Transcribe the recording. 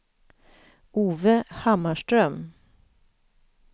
Ove Hammarström